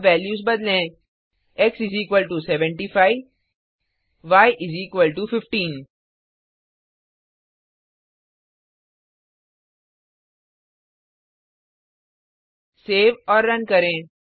अब वैल्यूज बदलें x75y 15 save और रन करें